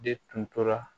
De tun tora